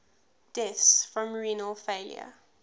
deaths from renal failure